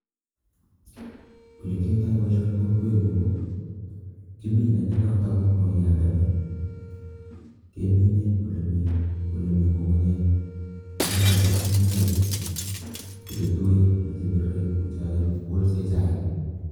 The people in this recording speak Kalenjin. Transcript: Ole kiyoitoi boisoni eng' kokwet nyu ko, kimine ne noton ko mauiyandoni kemine ole mii, ole mii ng'ung'unyek che chotok, ng'ung'unyek chu, ko chetuen ma che biriren kou cha kigolse chaik